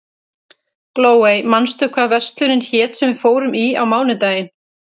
Glóey, manstu hvað verslunin hét sem við fórum í á mánudaginn?